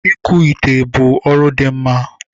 Ikuchi ite bụ ọrụ dị mma